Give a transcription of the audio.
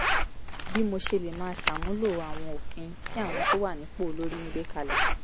bí mo ṣe lè máa ṣàmúlò àwọn òfin tí àwọn tó wà nípò olórí ń gbé kalẹ̀